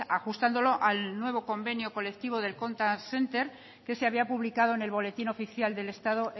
ajustándolo al nuevo convenio colectivo del contact center que se había publicado en el boletín oficial del estado